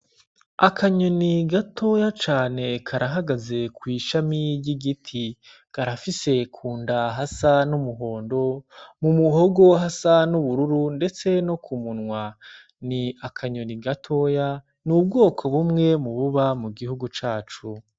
Akanyoni gatoya cane karahagaze kw'ishami ryi giti garafise ku nda hasa n'umuhondo mu muhogo hasa n'ubururu, ndetse no ku munwa ni akanyoni gatoya ni ubwoko bumwe mu buba mu gihugu cacu.